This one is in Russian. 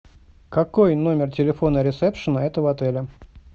какой номер телефона ресепшена этого отеля